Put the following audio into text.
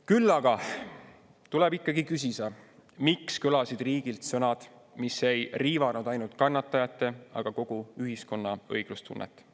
Küll aga tuleb ikkagi küsida, miks kõlasid riigilt sõnad, mis ei riivanud ainult kannatajate, vaid kogu ühiskonna õiglustunnet.